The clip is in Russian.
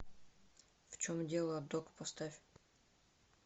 в чем дело док поставь